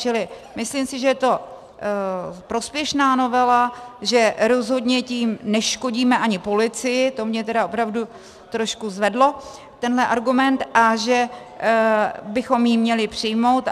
Čili myslím si, že je to prospěšná novela, že rozhodně tím neškodíme ani policii, to mě tedy opravdu trošku zvedlo, tenhle argument, a že bychom ji měli přijmout.